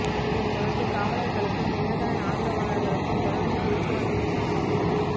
இதனை தொடர்ந்து காவலர்களுக்கும் தினகரன் ஆதரவாளர்களுக்கும் தொடர்ந்து பேச்சுவார்த்தை நடைப்பெற்று வருகிறது